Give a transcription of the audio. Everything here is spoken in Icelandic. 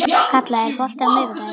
Kalla, er bolti á miðvikudaginn?